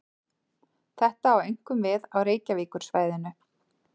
Þetta á einkum við á Reykjavíkursvæðinu.